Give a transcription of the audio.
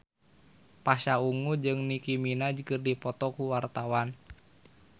Pasha Ungu jeung Nicky Minaj keur dipoto ku wartawan